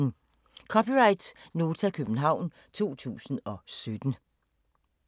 (c) Nota, København 2017